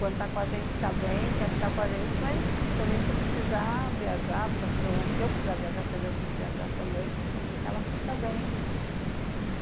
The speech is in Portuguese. Quando está com a gente, está bem, quer ficar com a gente, mas também se precisar viajar, se eu precisar viajar, porque eu tenho que viajar também, ela fica bem, né.